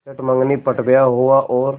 चट मँगनी पट ब्याह हुआ और